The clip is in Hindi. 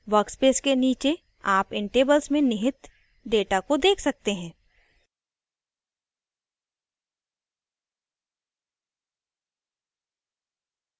workspace के नीचे आप इन tables में निहित data को देख सकते हैं